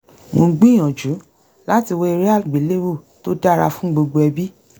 mò ń gbìyànjú láti wá eré àgbéléwò tó dára fún gbogbo ẹbí